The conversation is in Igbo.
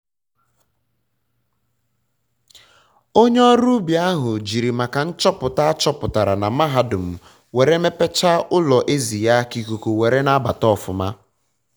onye ọrụ ubi ahụ jiri maka nchọpụta achọpụtara na mahadum were mepecha ụlọ ezi ya ka ikuku were na-abata ọfụma